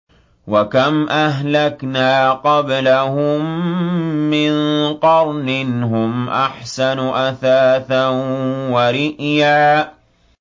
وَكَمْ أَهْلَكْنَا قَبْلَهُم مِّن قَرْنٍ هُمْ أَحْسَنُ أَثَاثًا وَرِئْيًا